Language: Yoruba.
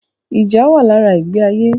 Ìjà wà lára ìgbé ayé